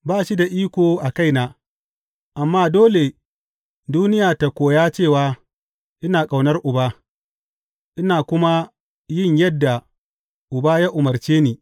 Ba shi da iko a kaina, amma dole duniya ta koya cewa ina ƙaunar Uba, ina kuma yin yadda Ubana ya umarce ni.